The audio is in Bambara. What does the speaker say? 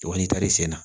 Wa n'i taar'i sen na